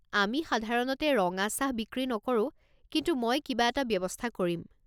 আমি সাধাৰণতে ৰঙা চাহ বিক্ৰী নকৰোঁ, কিন্তু মই কিবা এটা ব্যৱস্থা কৰিম।